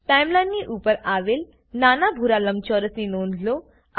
ટાઈમલાઈનની ઉપર આવેલ નાના ભૂરા લંબચોરસની નોંધ લો